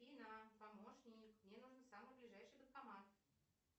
афина помощник мне нужен самый ближайший банкомат